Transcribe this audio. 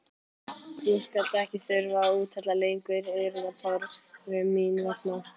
Þú skalt ekki þurfa að úthella lengur iðrunartárum mín vegna.